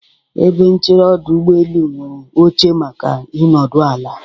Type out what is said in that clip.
Ebe nchere ọdụ ụgbọelu nwere oche maka ịnọdụ ala.